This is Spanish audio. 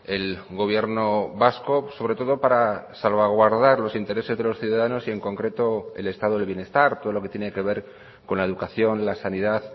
el gobierno vasco sobre todo para salvaguardar los intereses de los ciudadanos y en concreto el estado del bienestar todo lo que tiene que ver con la educación la sanidad